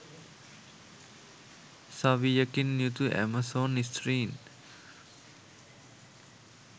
සවියකින් යුතු ඇමසෝන් ස්ත්‍රීන්